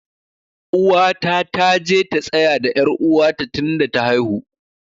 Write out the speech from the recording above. Uwata ta je ta tsaya da er uwa ta tun da ta haihu.